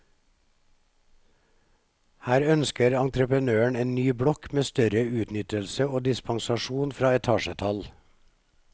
Her ønsker entreprenøren en ny blokk med større utnyttelse og dispensasjon fra etasjetall.